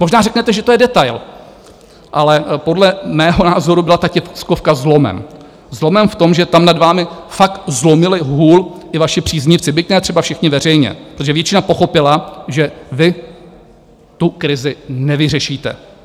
Možná řeknete, že to je detail, ale podle mého názoru byla ta tiskovka zlomem, zlomem v tom, že tam nad vámi fakt zlomili hůl i vaši příznivci, byť ne třeba všichni veřejně, protože většina pochopila, že vy tu krizi nevyřešíte.